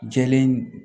Jɛlen